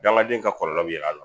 Dagaden in ka kɔlɔlɔ yɛlɛ a la.